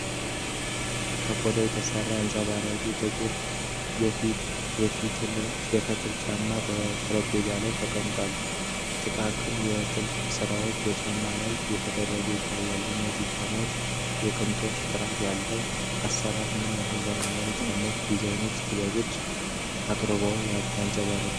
ከቆዳ የተሰራ አንጸባራቂ ጥቁር የፈትል ጫማ፣ በጠረጴዛ ላይ ተቀምጦ ጥቃቅን የጥልፍ ስራዎች በጫማው ላይ ተደርገው ይታያል፤ የዚህ ጫማ የቅንጦትና ጥራት ያለው አሰራር ምን ያህል ዘመናዊ የጫማ ዲዛይንና ጥበባዊ አቀራረብ ያንጸባርቃል?